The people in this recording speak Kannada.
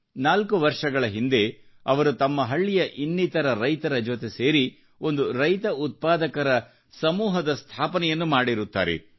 4 ವರ್ಷಗಳ ಹಿಂದೆ ಅವರು ತಮ್ಮ ಹಳ್ಳಿಯ ಇನ್ನಿತರ ರೈತರ ಜೊತೆ ಸೇರಿ ಒಂದು ರೈತ ಉತ್ಪಾದಕರ ಒಕ್ಕೂಟದ ಸ್ಥಾಪನೆಯನ್ನು ಮಾಡಿರುತ್ತಾರೆ